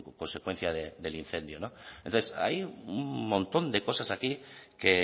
consecuencia del incendio entonces hay un montón de cosas aquí que